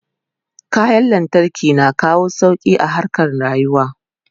kayan lantarki na kawo sauki a harkan rayuwa